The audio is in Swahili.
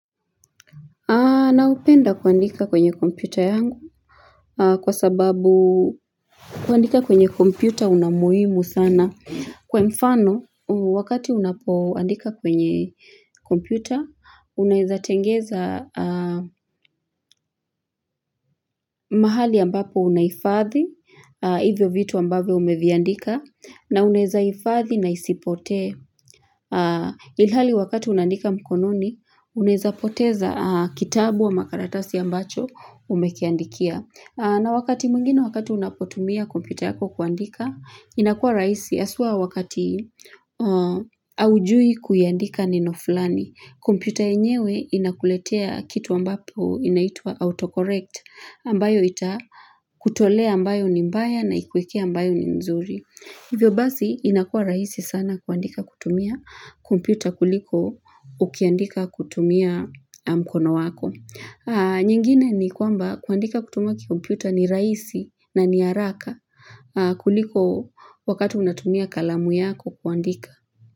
Naupenda kuandika kwenye kompyuta yangu kwa sababu kuandika kwenye kompyuta una umuhimu sana. Kwa mfano, wakati unapoandika kwenye kompyuta, unaweza tengeza mahali ambapo unahifadhi, hivyo vitu ambavyo umeviandika, na unawezahifadhi na isipotee. Ilhali wakati unaandika mkononi unaweza poteza kitabu ama karatasi ambacho umekiandikia na wakati mwnigine wakati unapotumia kompyuta yako kuandika inakuwa rahisi haswa wakati haujui kuiandika neno fulani kompyuta yenyewe inakuletea kitu ambapo inaitw a autocorrect ambayo ita kutolea ambayo ni mbaya na ikuekee ambayo ni nzuri Hivyo basi inakuwa rahisi sana kuandika kutumia kompyuta kuliko ukiandika kutumia mkono wako. Nyingine ni kwamba kuandika kutumia kikumpyuta ni rahisi na ni haraka kuliko wakati unatumia kalamu yako kuandika.